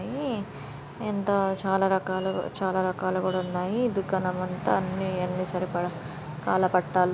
ఎంతో చాల రకాలు చాల రకాలు కూడా ఉన్నాయి. ఈ దుకాణం అంత అన్ని సరిపడా కాళ్ళ పట్టలు--